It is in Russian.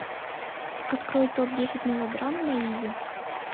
открой топ десять мелодрам на иви